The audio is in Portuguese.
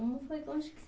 Como foi, onde que